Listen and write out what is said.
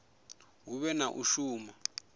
hu vhe na u shuma